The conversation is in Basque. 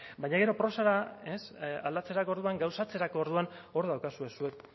baina gero prosara aldatzerako orduan gauzatzerako orduan hor daukazue zuek